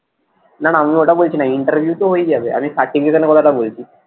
নানা আমি ওটা বলছি না interview তো হয়েই যাবে আমি certification এর কথা টা বলছি।